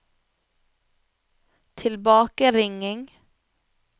tilbakeringing